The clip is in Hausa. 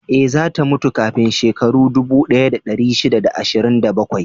Ee, za ta mutu kafin shekaru dubu ɗaya da ɗari shida da ashirin da bakwai